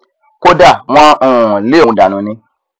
kódà wọn um lé òun dànù ni